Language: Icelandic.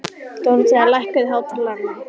Dorothea, lækkaðu í hátalaranum.